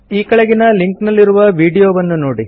ಈ ಕೆಳಗಿನ ಲಿಂಕ್ ನಲ್ಲಿರುವ ವೀಡಿಯೋವನ್ನು ನೋಡಿ